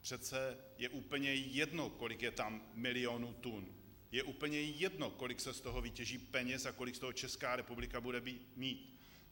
Přece je úplně jedno, kolik je tam milionů tun, je úplně jedno, kolik se z toho vytěží peněz a kolik z toho Česká republika bude mít.